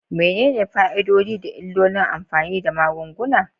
Menene fa'idodi da illolin amfani da magunguna?